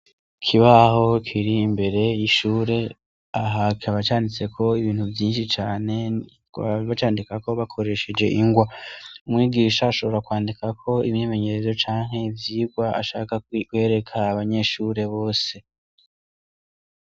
Ikibaho kiri mbere y'ishure, aha kikaba canditseko ibintu vyinshi cane, bakaba bacandikako bakoresheje ingwa. Umwigisha ashobora kwandikako imyimenyerezo canke ivyigwa ashaka kwereka abanyeshure bose.